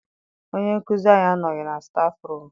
Onye nkụzi anyị anọghị na stafụrum.